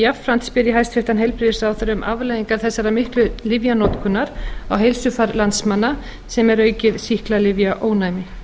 jafnframt spyr ég hæstvirtan heilbrigðisráðherra um afleiðingar þessarar miklu lyfjanotkunar á heilsufar landsmanna sem er aukið sýklalyfjaónæmi